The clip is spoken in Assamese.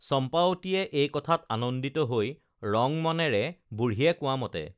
চম্পাৱতীয়ে এই কথাত আনন্দিত হৈ ৰং মনেৰে বুঢ়ীয়ে কোৱামতে